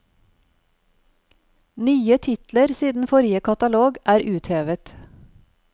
Nye titler siden forrige katalog er uthevet.